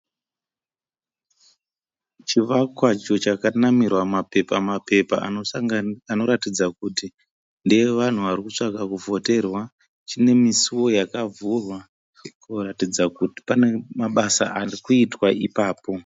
Chivakwa icho chakanamirwa mapepa mapepa anoratidza kuti ndeevanhu vari kutsvaga kuvhoterwa. Chine misuwo yakavhurika kuratidza kuti pane mabasa arikuitwa ipapo.